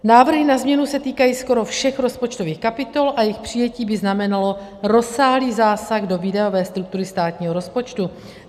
Návrhy na změnu se týkají skoro všech rozpočtových kapitol a jejich přijetí by znamenalo rozsáhlý zásah do výdajové struktury státního rozpočtu.